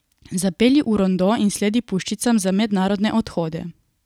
Zapelje v rondo in sledi puščicam za mednarodne odhode.